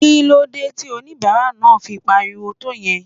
Kí ló dé tí onibara náà fi pariwo tó yẹn?